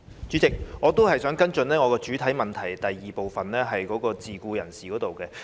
主席，我仍想跟進我的主體質詢第二部分有關自僱人士的申請。